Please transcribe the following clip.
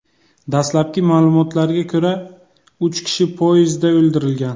Dastlabki ma’lumotlarga ko‘ra, uch kishi podyezdda o‘ldirilgan.